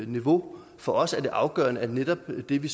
niveau for os er det afgørende at netop det vi